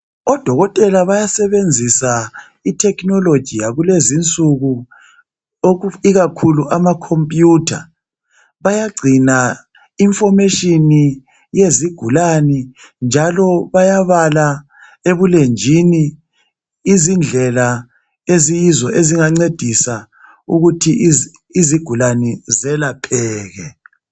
Odokotela bayasebenzisa ithekhinoloji yakulezi insuku ikakhulu amakhomputha. Bayagcina information yezigulane njalo bayabala ebulenjini izindlela eziyizo ezingancedisa ukuthi izigulane zelepheke.